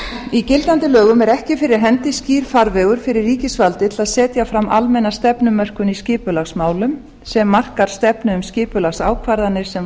í gildandi lögum er ekki fyrir hendi skýr farvegur fyrir ríkisvaldið til að setja fram almenna stefnumörkun í skipulagsmálum sem markar stefnu um skipulagsákvarðanir sem